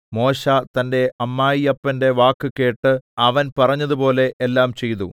മോശെ തന്റെ അമ്മായിയപ്പന്റെ വാക്ക് കേട്ട് അവൻ പറഞ്ഞതുപോലെ എല്ലാം ചെയ്തു